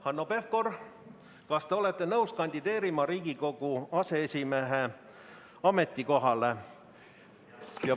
Hanno Pevkur, kas te olete nõus kandideerima Riigikogu aseesimehe ametikohale?